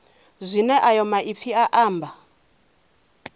zwine ayo maipfi a amba